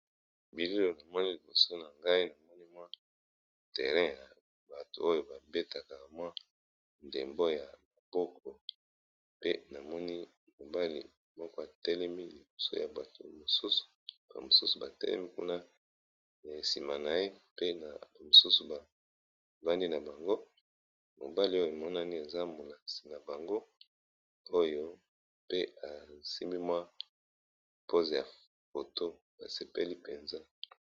Bilili owo tomoni liboso na ngai, namoni terrain ya batu oyo bataka ndembo ya maboko